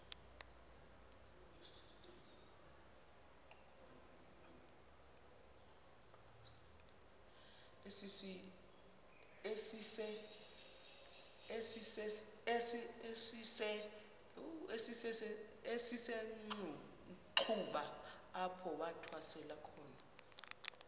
esisenxuba apho wathwasela